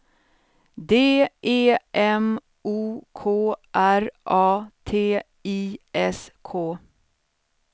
D E M O K R A T I S K